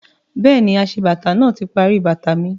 Bẹ́ẹ̀ni, aṣebàtà náà ti parí bàtà mi